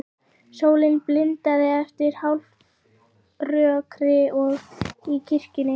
Sólin blindaði eftir hálfrökkrið í kirkjunni.